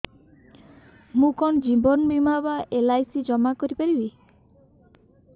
ମୁ କଣ ଜୀବନ ବୀମା ବା ଏଲ୍.ଆଇ.ସି ଜମା କରି ପାରିବି